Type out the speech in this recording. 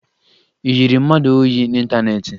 Ị yịrị mmadụ ọyị n'ịntaneetị?